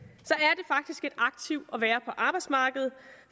aktiv at være på arbejdsmarkedet